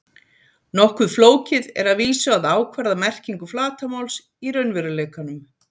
Nokkuð flókið er að vísu að ákvarða merkingu flatarmáls í raunveruleikanum.